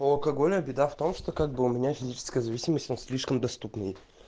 у алкоголя беда в том что как бы у меня физическая зависимость он слишком доступный